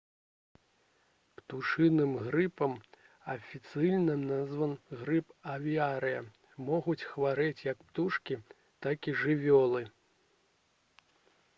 птушыным грыпам афіцыйная назва — грып авіарыя могуць хварэць як птушкі так і жывёлы